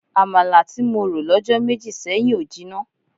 Àmàlà tí mo rò lọ́jọ́ méjì sẹ́yìn ò jinná.